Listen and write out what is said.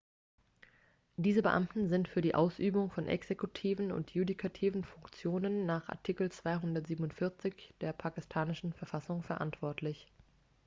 diese beamten sind für die ausübung von exekutiven und judikativen funktionen nach artikel 247 der pakistanischen verfassung verantwortlich